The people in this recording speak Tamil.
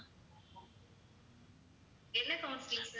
என்ன counselling sir